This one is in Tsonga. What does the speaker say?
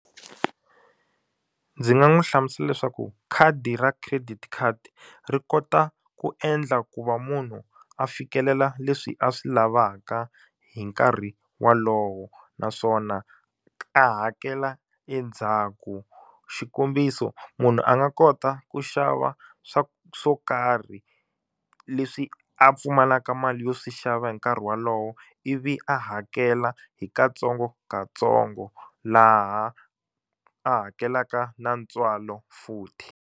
Ndzi nga n'wi hlamusela leswaku khadi ra credit card ri kota ku endla ku va munhu a fikelela leswi a swi lavaka hi nkarhi wolowo naswona a hakela endzhaku xikombiso munhu a nga kota ku xava swa swo karhi leswi a pfumalaka mali yo swi xava hi nkarhi wolowo ivi a hakela hi katsongokatsongo laha a hakelaka na ntswalo futhi.